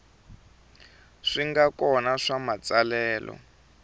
swi nga kona swa matsalelo